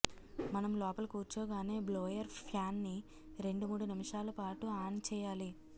మనం లోపల కూర్చోగానే బ్లోయర్ ఫ్యాన్ని రెండుమూడు నిమిషాలపాటు ఆన్ చేయాలి